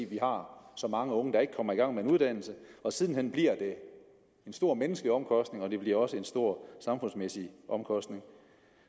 vi har så mange unge der ikke kommer i gang med en uddannelse og siden hen giver det store menneskelige omkostninger og det giver også store samfundsmæssige omkostninger